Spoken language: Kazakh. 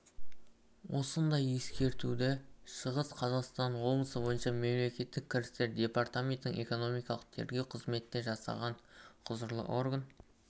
осындай ескертуді шығыс қазақстан облысы бойынша мемлекеттік кірістер департаментінің экономикалық тергеу қызметі де жасаған құзырлы орган